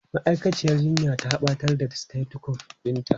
Ma'aikaciyar jinya ta batar da stetosukop ɗinta.